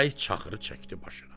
Əli çaxırı çəkdi başına.